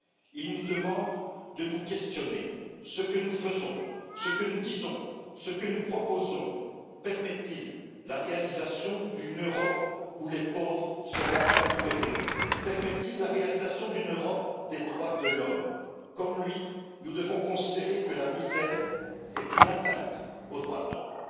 Il nous demande de nous questionner ce que nous faisons, ce que nous disons, ce que nous proposons permet il la réalisation d'une Europe où les pauvres seront enfin libérés, permet il la réalisation d'une Europe des droits de l'homme? Comme lui, nous devons considérer que la misère constitue une atteinte aux droits de l'homme.